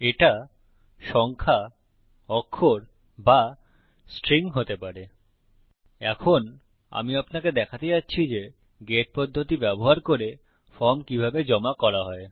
এখন আমি আপনাকে দেখাতে যাচ্ছি যে গেট পদ্ধতি ব্যবহার করে ফর্ম কিভাবে জমা করা হয়